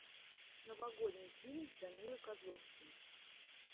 новогодний фильм с данилой козловским